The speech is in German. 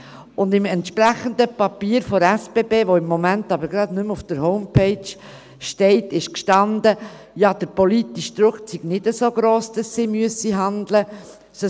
Im entsprechenden Papier der SBB, das aber im Moment gerade nicht mehr auf der Homepage zu finden ist, stand, der politische Druck sei nicht so gross, dass sie handeln müssten.